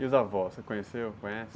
E os avós, você conheceu, conhece?